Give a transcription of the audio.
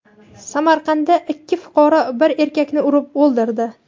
Samarqandda ikki fuqaro bir erkakni urib o‘ldirdi.